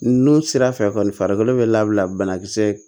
N'o sira fɛ kɔni farikolo bɛ labila bana kisɛ